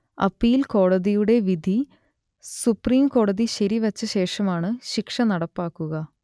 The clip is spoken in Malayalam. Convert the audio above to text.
അപ്പീൽ കോടതിയുടെ വിധി സുപ്രീംകോടതി ശരിവെച്ച ശേഷമാണ് ശിക്ഷ നടപ്പാക്കുക